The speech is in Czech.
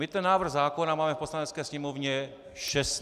My ten návrh zákona máme v Poslanecké sněmovně 16 měsíců.